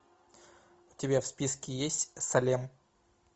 у тебя в списке есть салем